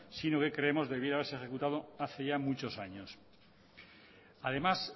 sino que creemos debiera haberse ejecutado hace ya muchos años además